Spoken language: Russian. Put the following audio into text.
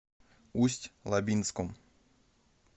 усть лабинском